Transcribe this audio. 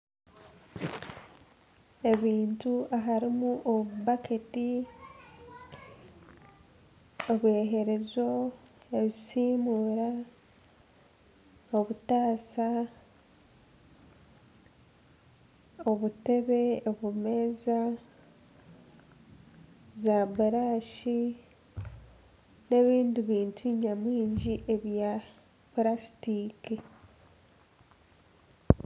Ebintu harimu obubaketi ebyeyerezo ebisiimura obutaasa, obutebe, obumeeza, zaburashi, nana ebindi bintu nyamwingi bya purasitika